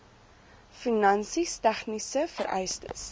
finansies tegniese vereistes